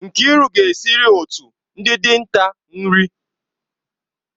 Nkiru ga-esiri otu ndị dinta nri.